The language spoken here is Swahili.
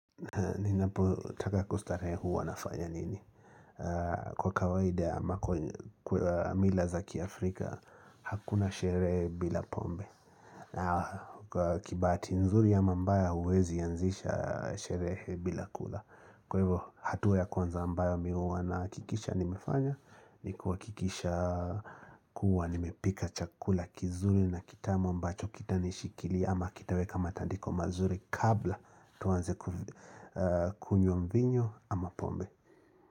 Ninapotaka kustarehe huwa nafanya nini Kwa kawaida ya mila za kiafrika Hakuna sherehe bila pombe Kibahati nzuri ama mbaya huwezi anzisha sherehe bila kula Kwa hivyo hatua ya kwanza ambayo mimi huwa nahakikisha nimefanya Nikuhakikisha kuwa nimepika chakula kizuri na kitamu ambacho kitanishikilia ama kitaweka matandiko mazuri kabla tuanze kunywanmvinyo ama pombe.